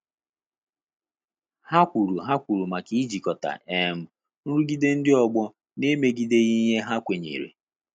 Ha kwuru Ha kwuru maka ijikota um nrụgide ndị ọgbọ na emegideghi ihe ha kwenyere